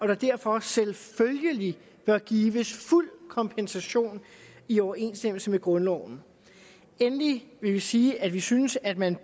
der derfor selvfølgelig bør gives fuld kompensation i overensstemmelse med grundloven endelig vil vi sige at vi synes at man